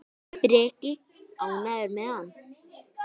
Breki: Ánægður með hann?